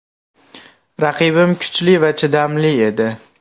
Raqibim kuchli va chidamli edi.